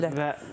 Mütləq.